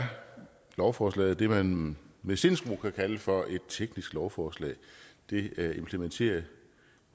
lovforslaget det som man med sindsro kan kalde for et teknisk lovforslag det implementerer